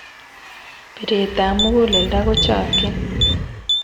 Pret ap muguleldo kochakchin